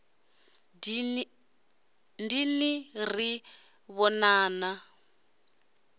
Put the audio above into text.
dini ri ḓo ḓi vhonana